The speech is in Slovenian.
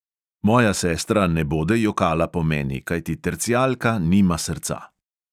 Moja sestra ne bode jokala po meni, kajti tercijalka nima srca!